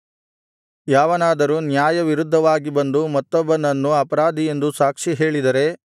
ಯಾವನಾದರೂ ನ್ಯಾಯವಿರುದ್ಧವಾಗಿ ಬಂದು ಮತ್ತೊಬ್ಬನನ್ನು ಅಪರಾಧಿ ಎಂದು ಸಾಕ್ಷಿಹೇಳಿದರೆ